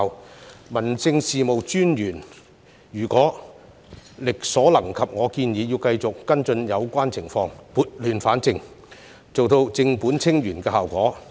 我建議，民政事務專員如果力所能及，亦要繼續跟進有關情況，撥亂反正，做到正本清源的效果。